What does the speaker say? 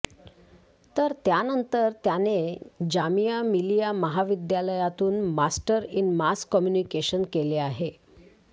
तर त्यानंतर त्याने जामिया मिलिया महाविद्यालयातून मास्टर इन मास कम्युनिकेशन केले आहे